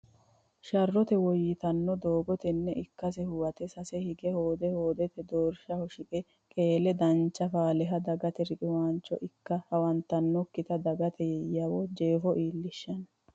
Sharrote woyyitanno doogo tenne ikkase huwate sase hige hoode hoodete doorshaho shiqe qeele dancha faaleha dagate riqiwaancho ikke hawantannokkita dagate yawo jeefo iillishino.